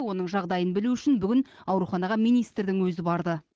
оның жағдайын білу үшін бүгін ауруханаға министрдің өзі барды